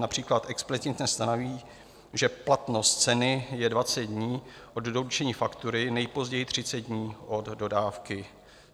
Například explicitně stanoví, že platnost ceny je 20 dní od doručení faktury, nejpozději 30 dní od dodávky.